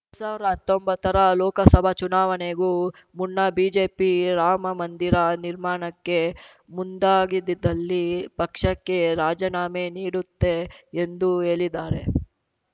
ಎರಡ್ ಸಾವ್ರಾ ಹತ್ತೊಂಬತ್ತರ ಲೋಕಸಭಾ ಚುನಾವಣೆಗೂ ಮುನ್ನ ಬಿಜೆಪಿ ರಾಮಮಂದಿರ ನಿರ್ಮಾಣಕ್ಕೆ ಮುಂದಾಗಿದಿದ್ದಲ್ಲಿ ಪಕ್ಷಕ್ಕೆ ರಾಜೀನಾಮೆ ನೀಡುತ್ತೇ ಎಂದು ಹೇಳಿದ್ದಾರೆ